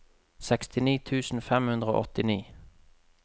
sekstini tusen fem hundre og åttini